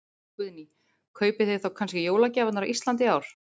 Guðný: Kaupið þið þá kannski jólagjafirnar á Íslandi í ár?